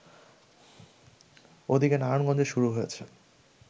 ওদিকে নারায়ণগঞ্জে শুরু হয়েছে